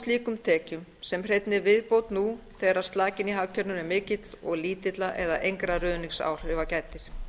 slíkum tekjum sem hreinni viðbót nú þegar slakinn í hagkerfinu er mikill og lítilla eða engra ruðningsáhrifa gætir